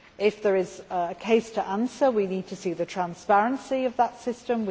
If there is a case to answer, we need to see the transparency of that system